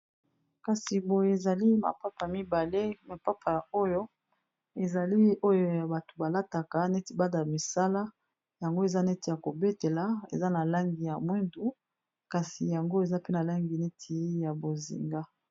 Kasi boye ezali mapapa mibale, mapapa oyo ezali oyo ya bato balataka neti bana misala yango eza neti ya kobetela eza na langi ya mwindu kasi yango eza pe na langi neti ya bozinga.